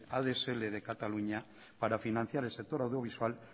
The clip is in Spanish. adsl de cataluña para financiar el sector audiovisual